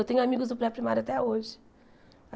Eu tenho amigos do pré-primário até hoje.